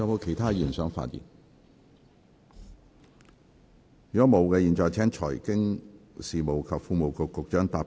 如果沒有，我現在請財經事務及庫務局局長答辯。